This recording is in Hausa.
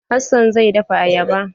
Hassan zai dafa ayaba.